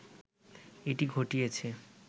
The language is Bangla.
এটি ঘটিয়েছে